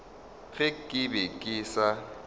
ge ke be ke sa